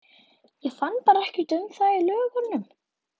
Ég fann bara ekkert um það í lögunum.